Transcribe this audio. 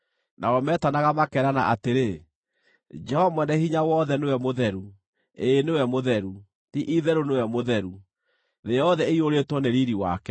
Nao metanaga makerana atĩrĩ: “Jehova Mwene-Hinya-Wothe nĩwe mũtheru, ĩĩ nĩwe mũtheru, ti-itherũ nĩwe mũtheru; thĩ yothe ĩiyũrĩtwo nĩ riiri wake.”